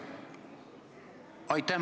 Aitäh!